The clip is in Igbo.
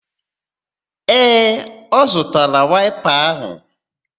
Ee, ọ zụtara waịpa áhụ̀